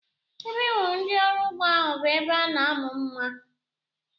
Ebe m hụrụ ndị ọrụ ugbo ahu bụ ebe a na-amụ mma